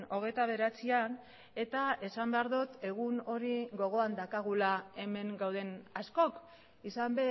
hogeita bederatzian eta esan behar dut egun hori gogoan daukagula hemen gauden askok izan